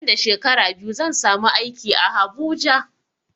Nan da shekara biyu zan samu aiki a habuja